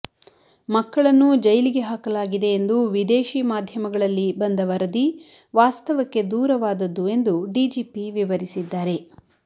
ಮಕ್ಕಳನ್ನೂ ಜೈಲಿಗೆ ಹಾಕಲಾಗಿದೆ ಎಂದು ವಿದೇಶಿ ಮಾಧ್ಯಮಗಳಲ್ಲಿ ಬಂದ ವರದಿ ವಾಸ್ತವಕ್ಕೆ ದೂರವಾದದ್ದು ಎಂದು ಡಿಜಿಪಿ ವಿವರಿಸಿದ್ದಾರೆ